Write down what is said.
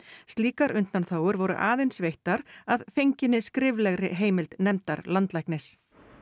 slíkar undanþágur voru aðeins veittar að fenginni skriflegri heimild nefndar landlæknis